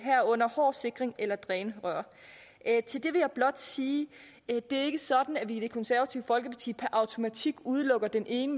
herunder hård sikring eller drænrør til det vil jeg blot sige det er ikke sådan at vi i det konservative folkeparti per automatik udelukker den ene